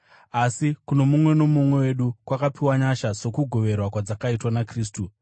Asi kuno mumwe nomumwe wedu kwakapiwa nyasha sokugoverwa kwadzakaitwa naKristu.